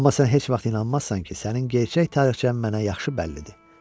Amma sən heç vaxt inanmazsan ki, sənin gerçək tarixçən mənə yaxşı bəllidir.